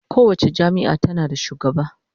Kowace jami'a tana da shugaba